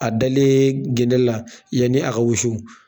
A dalen gende la yanni a ka wusu